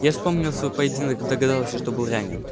я вспомнил свой поединок и догадался что был ранен